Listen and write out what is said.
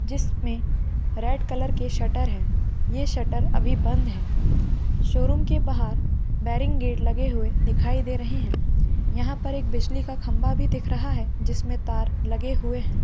जिसमे red colour के shutter है ये शटर अभी बंद है शोरूम के बाहर बेरिंग गेट लगे हुए दिखाई दे रहे है यहाँ पर एक बिजली का खंभा भी दिख रहा है जिसमें तार लगे हुए है।